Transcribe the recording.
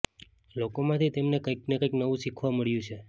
લોકોમાંથી તેમને કંઈકને કંઈક નવું શીખવા મળ્યું છે